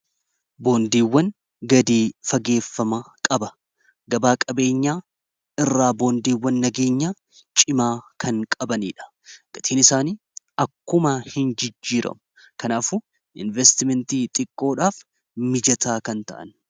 Boondiiwwan gadi fageeffama qaba gabaa qabeenyaa irraa boondiiwwan nageenyaa cimaa kan qabaniidha gatiin isaanii akkuma hin jijjiiramu kanaafuu investimentii xiqqoodhaaf mijataa kan ta'an.